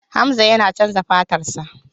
Hamza yana chanza fatarsa.